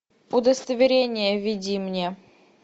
удостоверение введи мне